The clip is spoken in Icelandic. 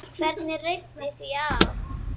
Hvernig reiddi því af?